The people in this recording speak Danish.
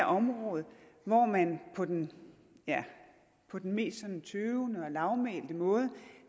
område hvor man på den mest sådan tøvende og lavmælte måde